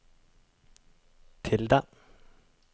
tilde